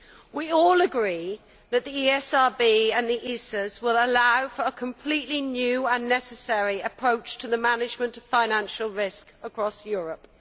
We all agree that the ESRB and the ISAs will allow for a completely new and necessary approach to the management of financial risk across Europe